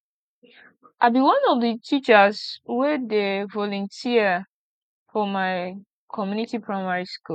i be one of the teachers wey dey volunteer for my community primary school